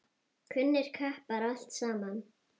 Kunnir kappar, allt saman.